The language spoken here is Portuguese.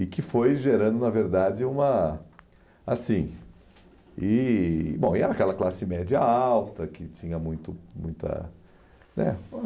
E que foi gerando, na verdade, uma... assim, e, Bom, e era aquela classe média alta, que tinha muito, muita... né